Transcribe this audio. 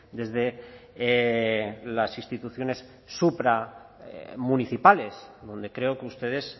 desde las instituciones supra municipales donde creo que ustedes